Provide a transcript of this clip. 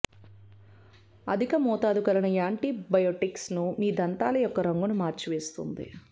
అధిక మోతాదు కలిగిన యాంటీ బయోటిక్స్ ను మీ దంతాల యొక్క రంగును మార్చివేస్తుంది